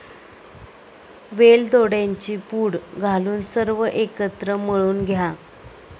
वेलदोड्यांची पूड घालून सर्व एकत्र मळून घ्या.